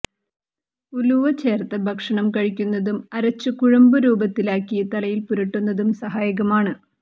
ഉലുവ ചേർത്ത ഭക്ഷണം കഴിക്കുന്നതും അരച്ച് കുഴമ്പു രൂപത്തിലാക്കി തലയിൽ പുരട്ടുന്നതും സഹായകമാണ്